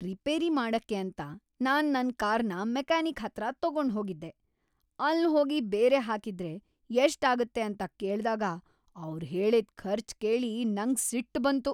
Repair ಮಾಡಕ್ಕೆ ಅಂತ ನಾನ್ ನನ್ ಕಾರ್ನ ಮೆಕ್ಯಾನಿಕ್ ಹತ್ರ ತಗೊಂಡ್ ಹೋಗಿದ್ದೆ. ಅಲ್ ಹೋಗಿ ಬೇರೆ ಹಾಕಿದ್ರೆ ಎಷ್ಟ್ ಆಗುತ್ತೆ ಅಂತ ಕೇಳ್ದಾಗ ಅವ್ರು ಹೇಳಿದ್ ಖರ್ಚು ಕೇಳಿ ನಂಗ್ ಸಿಟ್ಟು ಬಂತು.